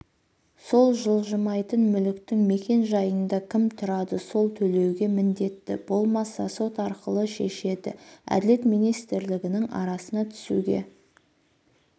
сол жылжымайтын мүліктің мекен-жайында кім тұрады сол төлеуге міндетті болмаса сот арқылы шешеді әділет министрлігініңарасына түсуге